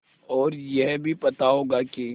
और यह भी पता होगा कि